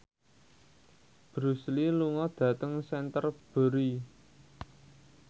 Bruce Lee lunga dhateng Canterbury